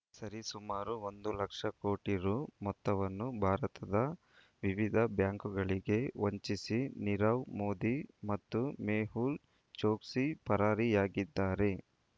ಸರಿಸುಮಾರು ಒಂದು ಲಕ್ಷ ಕೋಟಿ ರೂ ಮೊತ್ತವನ್ನು ಭಾರತದ ವಿವಿಧ ಬ್ಯಾಂಕುಗಳಿಗೆ ವಂಚಿಸಿ ನೀರವ್ ಮೋದಿ ಮತ್ತು ಮೆಹುಲ್ ಚೊಕ್ಸಿ ಪರಾರಿಯಾಗಿದ್ದಾರೆ